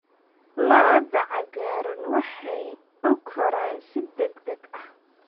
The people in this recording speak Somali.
Lo'da cagaaran waxay u koraan si degdeg ah.